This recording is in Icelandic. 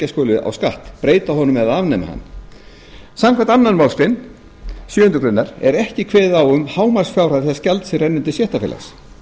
skuli á skatt breyta honum eða afnema hann samkvæmt annarri málsgrein sjöundu grein er ekki kveðið á um hámarksfjárhæð þess gjalds sem rennur til stéttarfélags